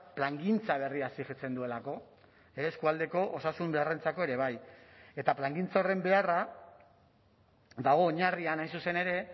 plangintza berria exijitzen duelako eskualdeko osasun beharrentzako ere bai eta plangintza horren beharra dago oinarrian hain zuzen ere